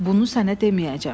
Bunu sənə deməyəcəm.